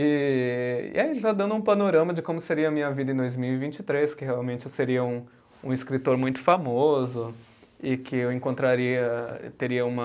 E aí já dando um panorama de como seria a minha vida em dois mil e vinte e três, que realmente eu seria um escritor muito famoso e que eu encontraria, teria uma